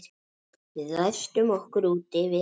Við læstum okkur úti við